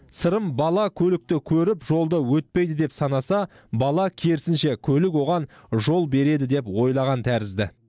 сырым бала көлікті көріп жолды өтпейді деп санаса бала керісінше көлік оған жол береді деп ойлаған тәрізді